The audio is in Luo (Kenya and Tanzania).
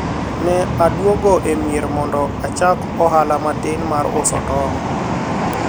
ne adwogo e mier mondo achak ohala matin mar uso tong'